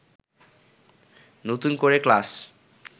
নতুন করে ক্লাশ